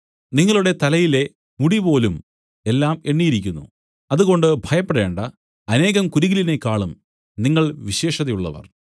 നിങ്ങളുടെ തലയിലെ മുടിപോലും എല്ലാം എണ്ണിയിരിക്കുന്നു അതുകൊണ്ട് ഭയപ്പെടേണ്ടാ അനേകം കുരികിലിനെക്കാളും നിങ്ങൾ വിശേഷതയുള്ളവർ